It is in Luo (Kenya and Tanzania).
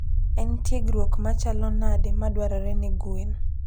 En tiegruok machalo nade madwarore ne gwen?